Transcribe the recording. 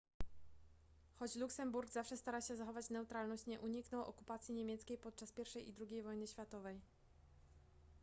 choć luksemburg zawsze starał się zachować neutralność nie uniknął okupacji niemieckiej podczas pierwszej i drugiej wojny światowej